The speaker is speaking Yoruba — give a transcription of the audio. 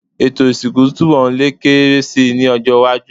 Ètò ìsìnkú túnbọ̀ lè kéré si ní ọjọ́-iwájú.